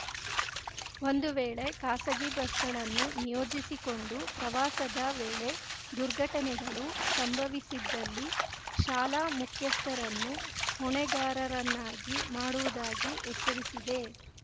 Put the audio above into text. ಒಂದುವೇಳೆ ಖಾಸಗಿ ಬಸ್‌ಗಳನ್ನು ನಿಯೋಜಿಸಿಕೊಂಡು ಪ್ರವಾಸದ ವೇಳೆ ದುರ್ಘಟನೆಗಳು ಸಂಭವಿಸಿದ್ದಲ್ಲಿ ಶಾಲಾ ಮುಖ್ಯಸ್ಥರನ್ನು ಹೊಣೆಗಾರರನ್ನಾಗಿ ಮಾಡುವುದಾಗಿ ಎಚ್ಚರಿಸಿದೆ